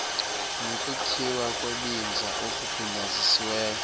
nokukhiwa kwebinza okugunyazisiweyo